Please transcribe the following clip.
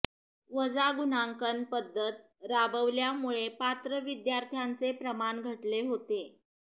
वजा गुणांकन पद्धत राबवल्यामुळे पात्र विद्यार्थ्यांचे प्रमाण घटले होते